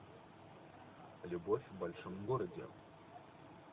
любовь в большом городе